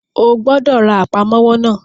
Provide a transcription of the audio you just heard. O gbọ́dọ̀ ra Àpámọ́wọ́ náà!